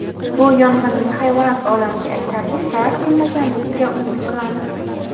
Bu yong‘inning hayvonot olamiga aytarlik zarar qilmaganligiga umid qilamiz.